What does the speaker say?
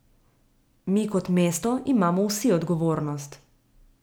Mi kot mesto imamo vsi odgovornost.